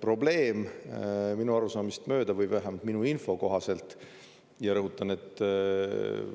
Probleem minu arusaamist mööda või vähemalt minu info kohaselt – ja rõhutan, et